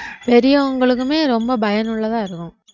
பெரியவங்களுக்குமே ரொம்ப பயனுள்ளதா இருக்கும்